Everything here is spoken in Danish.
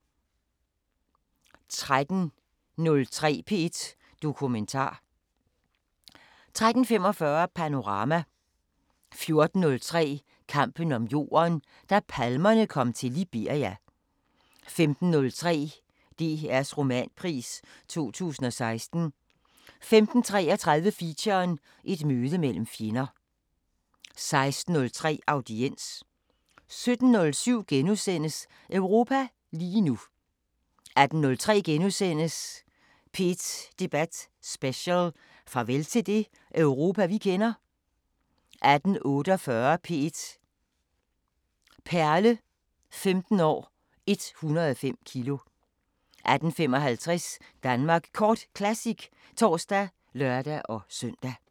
13:03: P1 Dokumentar 13:45: Panorama 14:03: Kampen om jorden – da palmerne kom til Liberia 15:03: DRs Romanpris 2016 15:33: Feature: Et møde mellem fjender 16:03: Audiens 17:07: Europa lige nu * 18:03: P1 Debat Special: Farvel til det Europa vi kender? * 18:48: P1 Perle: 15 år – 105 kilo 18:55: Danmark Kort Classic (tor og lør-søn)